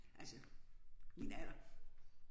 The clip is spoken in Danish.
Altså min alder